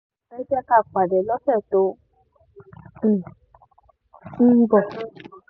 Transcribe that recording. ẹ jẹ́ ká pàdé lọ́sẹ̀ tó um ń bọ̀